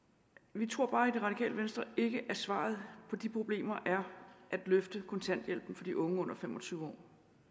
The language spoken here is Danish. vi tror bare i det radikale venstre ikke at svaret på de problemer er at løfte kontanthjælpen for de unge under fem og tyve år